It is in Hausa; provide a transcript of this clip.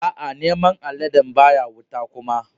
Aa, naman aladen baya wuta kuma.